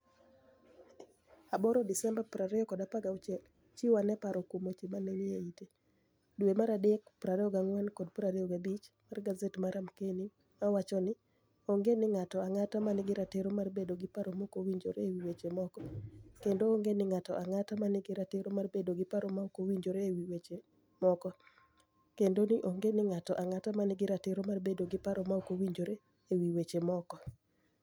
8 Desemba, 2016 Chiw ani e paro kuom weche maniie ite. Dwe mar adek 24 kod 25 mar gaset mar Amkenii! ma wacho nii: "Onige nig'ato anig'ata ma niigi ratiro mar bedo gi paro ma ok owinijore e wi weche moko, kenido onige nig'ato anig'ata ma niigi ratiro mar bedo gi paro ma ok owinijore e wi weche moko, kenido onige nig'ato anig'ata ma niigi ratiro mar bedo gi paro ma ok owinijore e wi weche moko".